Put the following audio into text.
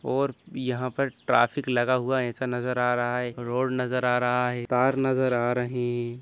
और यहाँ पर ट्रैफिक लगा हुआ हैं ऐसा नज़र आ रहा है एक रोड नजर आ रहा है कार नजर आ रही है।